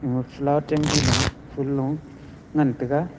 mafla chemji lu phol lo ngantaiga.